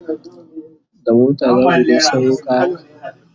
da mota zaku je Sayo kaya?